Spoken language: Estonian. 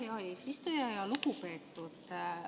Hea eesistuja!